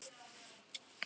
Verður ball?